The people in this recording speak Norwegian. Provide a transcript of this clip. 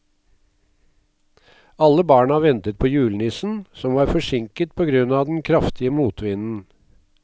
Alle barna ventet på julenissen, som var forsinket på grunn av den kraftige motvinden.